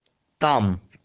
там